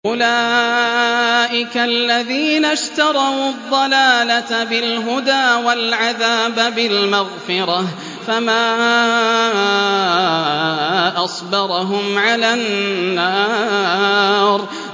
أُولَٰئِكَ الَّذِينَ اشْتَرَوُا الضَّلَالَةَ بِالْهُدَىٰ وَالْعَذَابَ بِالْمَغْفِرَةِ ۚ فَمَا أَصْبَرَهُمْ عَلَى النَّارِ